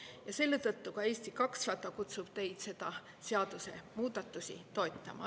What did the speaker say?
Ja selle tõttu Eesti 200 kutsub teid neid seadusemuudatusi toetama.